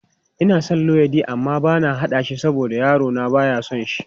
Ina son luwaiɗi amma bana haɗa shi saboda yarona ba ya son shi.